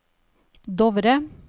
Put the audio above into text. Dovre